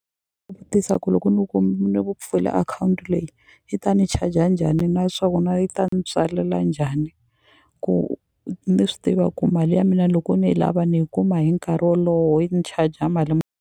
ku loko ni ni pfula akhawunti leyi yi ta ni charger njhani naswona yi ta ni tswalela njhani ku ni swi tiva ku mali ya mina loko ni yi lava ni yi kuma hi nkarhi wolowo yi ni charger mali .